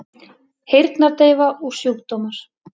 Heyrnardeyfa og sjúkdómar